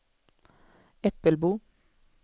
Äppelbo